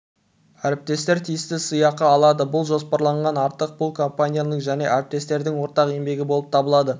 әріптестер тиісті сыйақы алады бұл жоспарланғаннан артық бұл компанияның және әріптестердің ортақ еңбегі болып табылады